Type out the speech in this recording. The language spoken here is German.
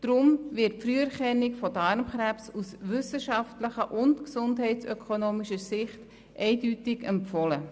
Darum wird die Früherkennung aus wissenschaftlicher und gesundheitsökonomischer Sicht eindeutig empfohlen.